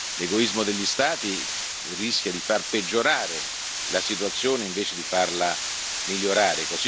L'egoismo degli Stati rischia di far peggiorare la situazione invece di farla migliorare.